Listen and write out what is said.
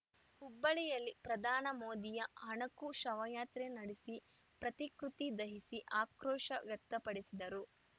ಹುಬ್ಬಳ್ಳಿಯಲ್ಲಿ ಪ್ರಧಾನ ಮೋದಿಯ ಅಣಕು ಶವಯಾತ್ರೆ ನಡೆಸಿ ಪ್ರತಿಕೃತಿ ದಹಿಸಿ ಆಕ್ರೋಶ ವ್ಯಕ್ತಪಡಿಸಿದರು